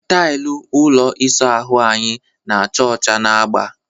Tailụ ụlọ ịsa ahụ anyị na-acha ọcha na agba.